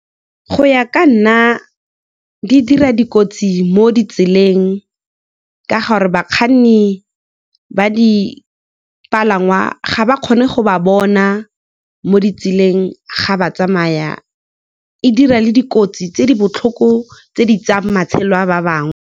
Go ya ka nna, di dira dikotsi mo ditseleng ka gore bakganni ba dipalangwa ga ba kgone go ba bona mo ditseleng, ga ba tsamaya, e dira le dikotsi tse di botlhoko tse di tsayang matshelo a ba bangwe.